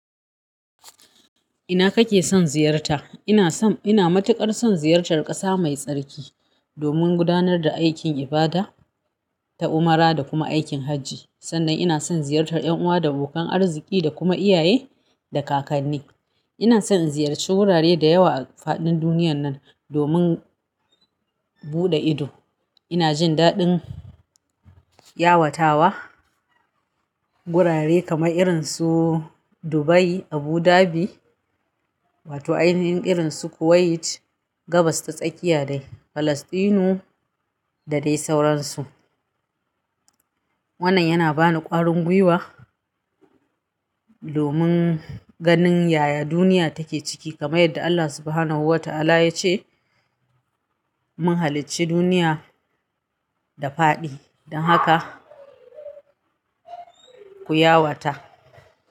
Ina kake son ziyarta? Ina matukar son ziyartar ƙasa mai tsarki domin gudanar da aikin ibada ta umra da kuma aikin hajji. Sannan ina son ziyartar ƴan uwa da abokan arziki da kuma iyaye da kakanni. Ina son in ziyarci gurare da yawa a faɗin duniyar nan domin buɗe ido. Ina jin daɗin yawatawa gurare kamar irin su Dubai, Abu Dhabi wato ainihin irin su Kuwait, Gabas ta tsakiya dai, Falasɗinu da dai sauransu. Wannan yana bani ƙwarin gwiwa domin ganin yaya duniya take ciki kamar yadda Allah Subhanahu wa ta'ala ya ce mun halicci duniya da faɗi don haka ku yawata.